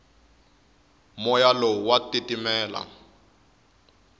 moya lowu wa titimela